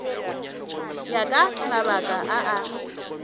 ya ka mabaka a a